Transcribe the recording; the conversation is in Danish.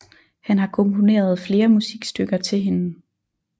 Han har komponeret flere musikstykker til hende